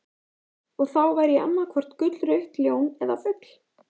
Og þá væri ég annaðhvort gullrautt ljón eða fugl.